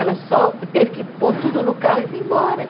Ela só teve que pôr tudo no carro e vim embora.